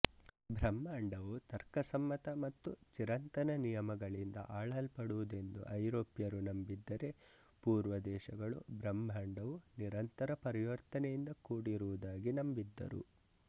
ಬ್ರಹ್ಮಾಂಡವು ತರ್ಕಸಮ್ಮತ ಮತ್ತು ಚಿರಂತನ ನಿಯಮಗಳಿಂದ ಆಳಲ್ಪಡುತ್ತದೆಂದು ಐರೋಪ್ಯರು ನಂಬಿದ್ದರೆ ಪೂರ್ವ ದೇಶಗಳು ಬ್ರಹ್ಮಾಂಡವು ನಿರಂತರ ಪರಿವರ್ತನೆಯಿಂದ ಕೂಡಿರುವುದಾಗಿ ನಂಬಿದ್ದರು